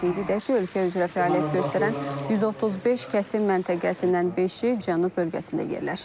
Qeyd edək ki, ölkə üzrə fəaliyyət göstərən 135 kəsim məntəqəsindən beşi Cənub bölgəsində yerləşir.